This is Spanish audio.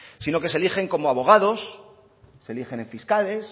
sino que se erigen como abogados se erigen en fiscales